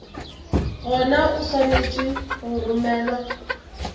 gona o swanetše go romelwa